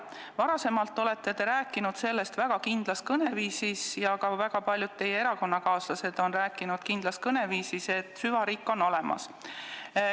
Varem olete te rääkinud väga kindlas kõneviisis ja ka väga paljud teie erakonnakaaslased on rääkinud kindlas kõneviisis, et süvariik on olemas.